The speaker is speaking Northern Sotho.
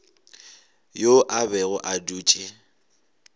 yo a bego a dutše